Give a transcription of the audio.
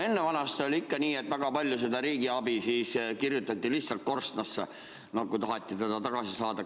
Ennevanasti oli ikka nii, et väga palju kirjutati riigiabi lihtsalt korstnasse, kui taheti seda tagasi saada.